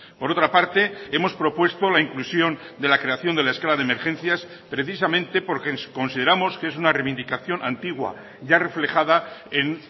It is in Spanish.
por otra parte hemos propuesto la inclusión de la creación de la escala de emergencias precisamente porque consideramos que es una reivindicación antigua ya reflejada en